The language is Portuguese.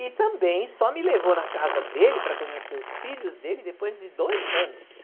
E também só me levou na casa dele para conhecer os filhos dele depois de dois anos.